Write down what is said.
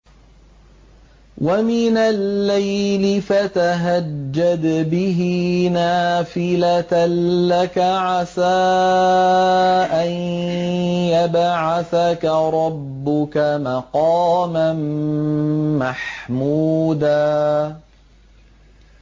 وَمِنَ اللَّيْلِ فَتَهَجَّدْ بِهِ نَافِلَةً لَّكَ عَسَىٰ أَن يَبْعَثَكَ رَبُّكَ مَقَامًا مَّحْمُودًا